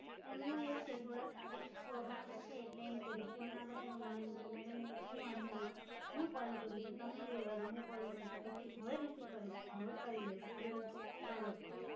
એમનું એવું છે. થોડાક Strict સ્વભાવ ના છે, એટલે એમ કે Receive ના કરે, તો મને એમ કે મેડમ ની કઈ વાંધો નઇ, હુ Call કરું છું, તમે રેવાદો, હુ Call કરું છું પછી હવે Receive કરે છે, હવે કરી લે સે, તમે કરો Call.